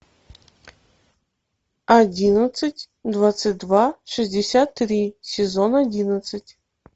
одиннадцать двадцать два шестьдесят три сезон одиннадцать